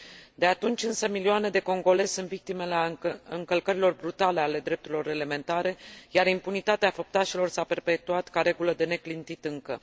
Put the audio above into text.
De atunci, însă, milioane de congolezi sunt victime ale încălcărilor brutale ale drepturilor elementare, iar impunitatea făptașilor s a perpetuat ca regulă de neclintit încă.